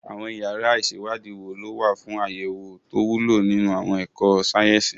Àwọn yàrá ìṣèwádìí wo ló wà fún àwọn àyẹ̀wò tó wúlò nínú àwọn ẹ̀kọ́ sáyẹ́sì?